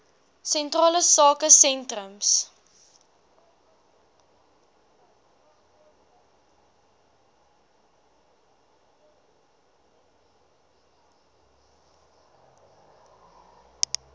sentrale sake sentrums